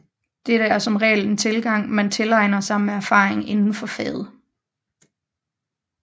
Dette er som regel en tilgang man tilegner sig med erfaring indenfor faget